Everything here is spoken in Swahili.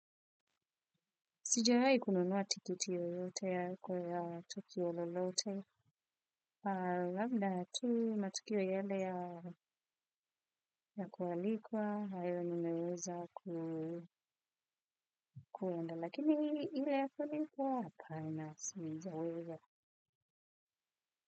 Sijawai kununuwa tikiti yoyote ya kwa ya tukio lolote. Labda tu matukio yale ya kualikwa hayo nimeweza ku enda lakini iwe ya kulipwa hapana sijaweza.